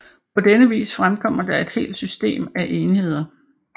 På denne vis fremkommer der et helt system af enheder